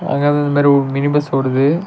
அங்க அது மாதிரி ஒரு மினி பஸ் ஓடுது.